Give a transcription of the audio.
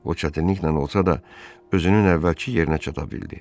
O çətinliklə olsa da özünün əvvəlki yerinə çata bildi.